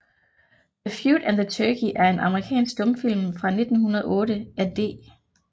The Feud and the Turkey er en amerikansk stumfilm fra 1908 af D